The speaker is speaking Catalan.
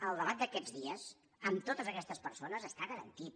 el debat d’aquests dies amb totes aquestes persones està garantit